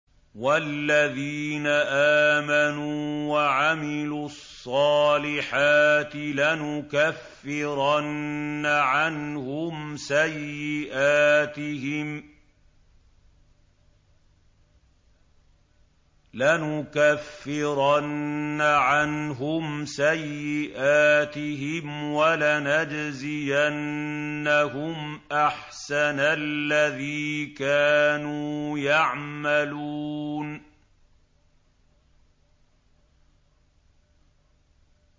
وَالَّذِينَ آمَنُوا وَعَمِلُوا الصَّالِحَاتِ لَنُكَفِّرَنَّ عَنْهُمْ سَيِّئَاتِهِمْ وَلَنَجْزِيَنَّهُمْ أَحْسَنَ الَّذِي كَانُوا يَعْمَلُونَ